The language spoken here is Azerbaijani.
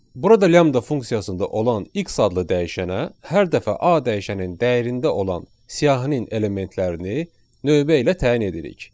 Burada lambda funksiyasında olan x adlı dəyişənə hər dəfə A dəyişəninin dəyərində olan siyahının elementlərini növbə ilə təyin edirik.